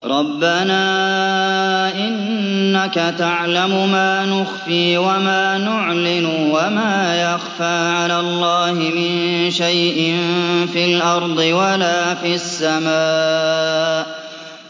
رَبَّنَا إِنَّكَ تَعْلَمُ مَا نُخْفِي وَمَا نُعْلِنُ ۗ وَمَا يَخْفَىٰ عَلَى اللَّهِ مِن شَيْءٍ فِي الْأَرْضِ وَلَا فِي السَّمَاءِ